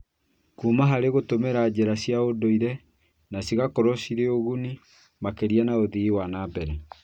Kũma harĩ gũtũmĩra njĩra cia ũndũire na cigakorwo cirĩ cia ũguni makĩria na ũthii wa na mbere